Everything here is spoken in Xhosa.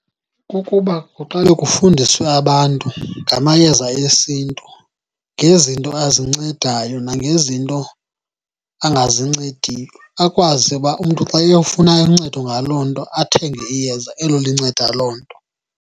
Kukuba kuqale kufundiswe abantu ngamayeza esiNtu, ngezinto azincedayo nangezinto angazincediyo. Akwazi uba umntu xa eyofuna uncedo ngaloo nto, athenge iyeza elo linceda loo nto.